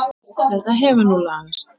Þetta hefur nú lagast.